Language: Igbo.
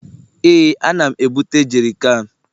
Ee, ana m ebute jerikan